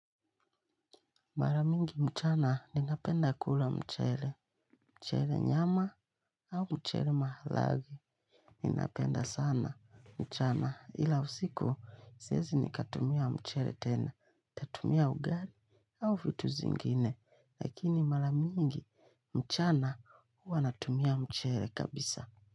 Maramingi mchana ninapenda kula mchele, mchele nyama au mchele mahalagi ninapenda sana mchana ila usiku siezi nikatumia mchele tena. Natumia ugali au vitu zingine lakini maramingi mchana huwa natumia mchele kabisa.